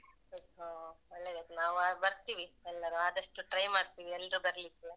ಹ ಒಳ್ಳೆದಾಯ್ತ್. ನಾವ್ ಬರ್ತಿವಿ. ಎಲ್ಲರು ಆದಷ್ಟು try ಮಾಡ್ತೀವಿ, ಎಲ್ಲ್ರು ಬರ್ಲಿಕ್ಕೆ.